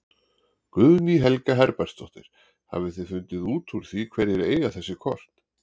Guðný Helga Herbertsdóttir: Hafið þið fundið út úr því hverjir eiga þessi kort?